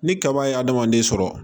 Ni kaba ye adamaden sɔrɔ